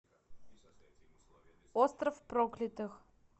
остров проклятых